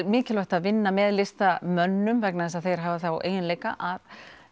mikilvægt að vinna með listamönnum vegna þess að þeir hafa þá eiginleika að